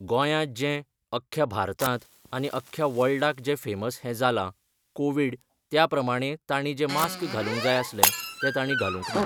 गोंयांत जें, अख्ख्या भारतांत आनी अख्ख्या वर्ल्डाक जें फेमस हें जालां, कोवीड त्या प्रमाणे ताणी जें मास्क घालूंक जाय आसलें तें ताणी घालूंक ना.